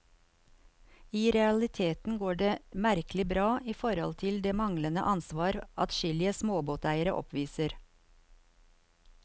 I realiteten går det merkelig bra, i forhold til det manglende ansvar adskillige småbåteiere oppviser.